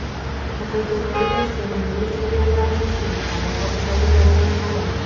Fotogalereya: Sevimli seriallarimizning kadr ortidagi jarayonlari.